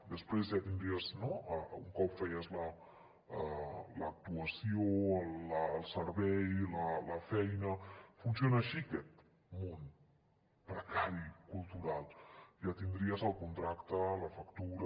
després ja tindries no un cop feies l’actuació el servei la feina funciona així aquest món precari cultural ja tindries el contracte la factura